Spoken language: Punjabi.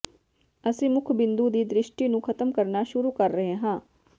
ਅਸੀਂ ਮੁੱਖ ਬਿੰਦੂ ਦੀ ਦ੍ਰਿਸ਼ਟੀ ਨੂੰ ਖਤਮ ਕਰਨਾ ਸ਼ੁਰੂ ਕਰ ਰਹੇ ਹਾਂ